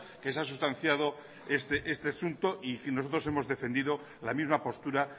que se ha sustanciado este asunto y nosotros hemos defendido la misma postura